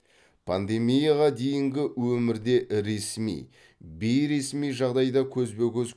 пандемияға дейінгі өмірде ресми бейресми жағдайда көзбе көз